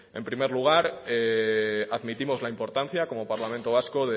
en primer lugar admitimos la importancia como parlamento vasco